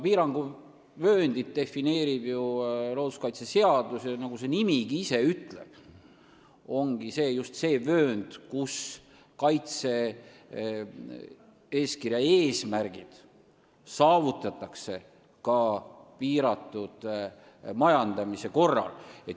Piiranguvööndit defineerib looduskaitseseadus ja nagu nimetus isegi ütleb, on see just see vöönd, kus saavutatakse kaitse-eeskirja eesmärgid ka piiratud majandamise korral.